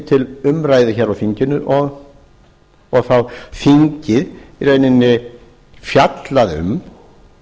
til umræðu hér á þinginu og þá þingið í rauninni fjallaði um